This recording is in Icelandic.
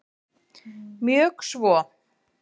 Mjög svo